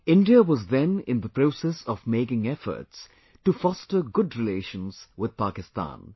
India was then in the process of making efforts to foster good relations with Pakistan